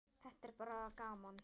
Þetta er bara gaman.